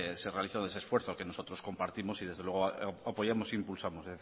se realizó de ese esfuerzo que nosotros compartimos y desde luego apoyamos e impulsamos